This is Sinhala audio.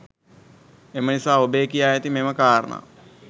එම නිසා ඔබේ කියා ඇති මෙම කාරණා